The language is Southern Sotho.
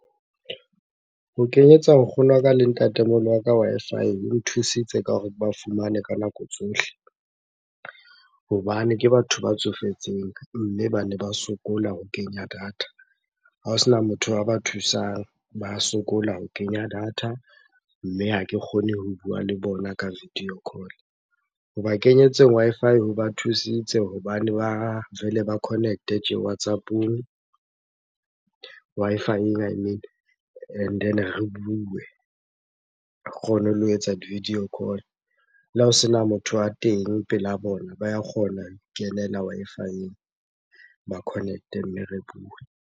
Ho kenyetsa nkgono wa ka le ntatemoholo wa ka Wi-Fi ho nthusitse ka hore ke ba fumane ka nako tsohle hobane ke batho ba tsofetseng mme bane ba sokola ho kenya data. Ha ho sena motho a ba thusang, ba sokola ho kenya data mme ha ke kgone ho bua le bona ka video call. Hoba kenyetseng Wi-Fi ho ba thusitse hobane ba vele ba connect-e tje WhatsApp-ong, Wi-Fi and then re bue, re kgone le ho etsa di-video call. Le ha o sena motho a teng pela bona, ba kgona ho ikenela Wi-Fi-eng, ba connect-e mme re bue.